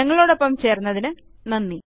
ഞങ്ങളോടൊപ്പം ചേർന്നതിന് നന്ദി